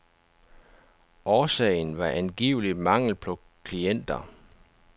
Årsagen var angiveligt mangel på klienter.